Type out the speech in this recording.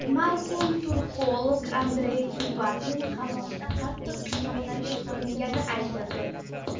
Marhum turkolog Andrey Kubatin qamoqda qattiq qiynoqlarga solingani aytildi.